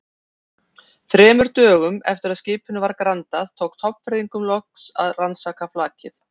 Þremur dögum eftir að skipinu var grandað, tókst Hornfirðingum loks að rannsaka flakið.